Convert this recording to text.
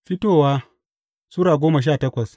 Fitowa Sura goma sha takwas